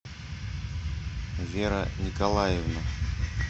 вера николаевна